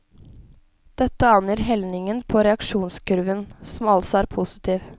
Dette angir helningen på reaksjonskurven, som altså er positiv.